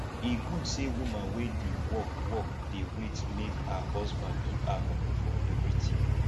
e good sey woman wey dey work work dey wait make her husband give her moni for everytin